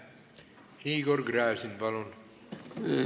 Igor Gräzin, palun!